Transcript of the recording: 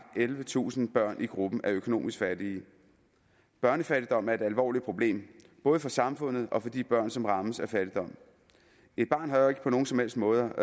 ellevetusind børn i gruppen af økonomisk fattige børnefattigdom er et alvorligt problem både for samfundet og for de børn som rammes af fattigdom et barn har jo ikke på nogen som helst måde